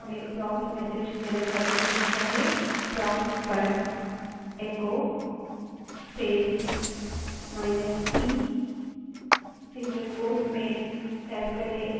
यह उपयोगी हो सकता है यदि कुछ एंटर करने से पहले हमें prompt message यानि त्वरित message चाहिए prompt पर echo space minus e single quote में type करें